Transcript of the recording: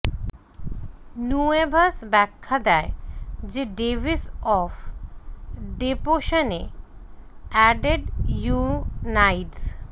নুয়েভস ব্যাখ্যা দেয় যে ডেভিস অফ ডেপোশনে এডেড ইউনাইডস